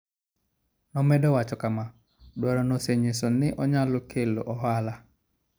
Nomedo wacho kama: "Dwarono osenyiso ni onyalo kelo ohala".